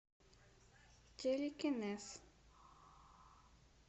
телекинез